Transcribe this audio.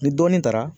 Ni dɔɔnin taara